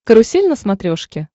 карусель на смотрешке